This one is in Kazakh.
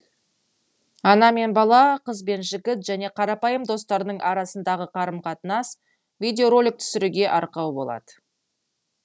ана мен бала қыз бен жігіт және қарапайым достардың арасындағы қарым қатынас видео ролик түсіруге арқау болады